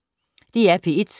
DR P1